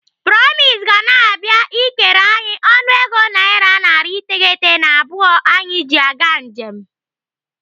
Promise ga na-abịa ikere anyị ọnụego naira narị iteghete na abụọ anyị ji aga njem.